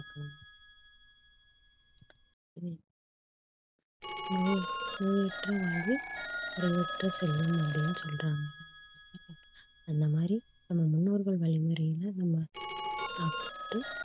நோய~ நோயற்ற வாழ்வே குறைவற்ற செல்வம் அப்படின்னு சொல்றாங்க அந்த மாதிரி நம்ம முன்னோர்கள் வழிமுறையில நம்ம சாப்பிட்டு